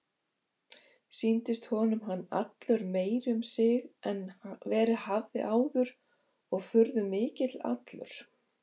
Sýndist honum hann allur meiri um sig en verið hafði áður og furðumikill allur.